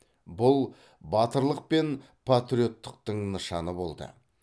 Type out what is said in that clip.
бұл батырлық пен патриоттықтың нышаны болды